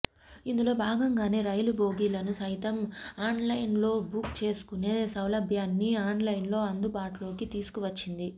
ఇందులో భాగంగానే రైలు బోగిలను సైతం ఆన్లైన్లోబుక్ చేసుకునే సౌలభ్యాన్ని ఆన్లైన్లో అందు బాటులోకి తీసుకువచ్చింది